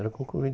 Era concorrido.